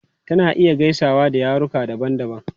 Tana iya gaisawa da yaruka daban-daban.